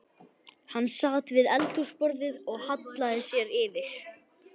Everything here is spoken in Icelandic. Hann sat við eldhúsborðið og hallaði sér yfir